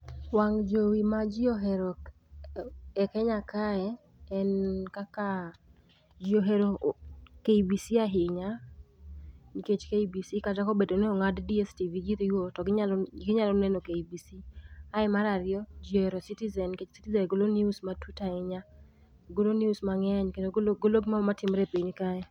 wang' jowi ma ji ohero e kenya kae en kaka ji ohero kbc ahinya nikech kcb kata kobedo ni 0ngad dstv giri go to ginyalo kbc ,mar ariyo ji ohero citizen nikech citizen golo news matut nikech ,golo news mang'eny kendo golo gimoro amora matimre e piny kae.